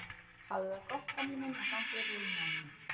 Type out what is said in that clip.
Hafðu það gott gamli minn og gangi þér vel í náminu.